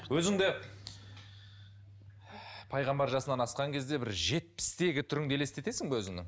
өзіңді пайғамбар жасынан асқан кезде бір жетпістегі түріңді елестесің бе өзіңнің